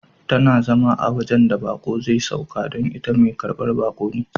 Tana zama a wajen da bako zai sauka ka don ita Mai karban baki ce.